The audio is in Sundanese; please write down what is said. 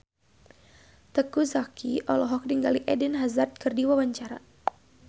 Teuku Zacky olohok ningali Eden Hazard keur diwawancara